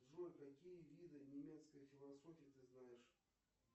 джой какие виды немецкой философии ты знаешь